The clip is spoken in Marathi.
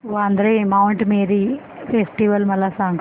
वांद्रे माऊंट मेरी फेस्टिवल मला सांग